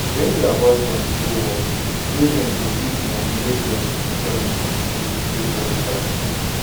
wen their husband go work women dey use moni wey dem join contribute take rent tractor